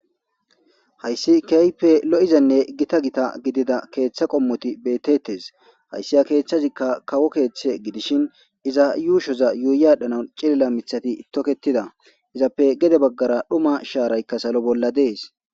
Hayssi kehippe lo'izane giita giita giddida keththa qommoti bettetes hayssi ha keththazikka kawo keththa giidishin iiza yuushozza yuuyi adhdhanawu ciilila miththati tokketida izzappe geede baggara dhumma sharaykka saalo bolla dessi.